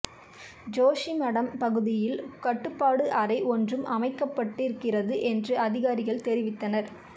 ஜோஷிமடம் பகுதியில் கட்டுப்பாட்டு அறை ஒன்றும் அமைக்கப்பட்டிருக்கிறது என்று அதிகாரிகள் தெரிவித்தனா்